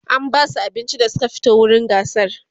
an Basu abinci da Suka fito wurin gasar